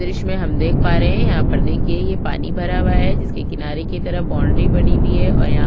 द्र्श्य मे हम देख पा रहे हैं यहाँ पर देखिए ये पानी भरा हुआ हैं जिसके किनारे की तरफ बाउंड्री बनी हुई हैं और यहाँ--